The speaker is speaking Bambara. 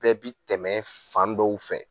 Bɛɛ bi tɛmɛ fan dɔw fɛ.